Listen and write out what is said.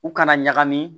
U kana ɲagami